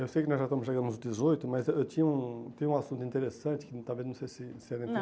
Eu sei que nós já estamos chegando aos dezoito, mas eu eu tinha um tenho um assunto interessante que talvez não sei se se era